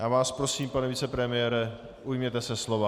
Já vás prosím, pane vicepremiére, ujměte se slova.